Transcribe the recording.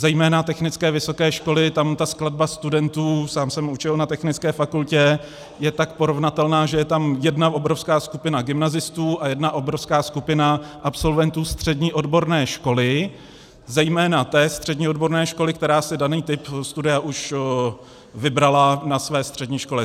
Zejména technické vysoké školy, tam ta skladba studentů - sám jsem učil na technické fakultě - je tak porovnatelná, že je tam jedna obrovská skupina gymnazistů a jedna obrovská skupina absolventů střední odborné školy, zejména té střední odborné školy, která si daný typ studia už vybrala na své střední škole.